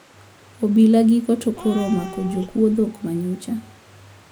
Obila giko to koro omako jokuwo dhok manyocha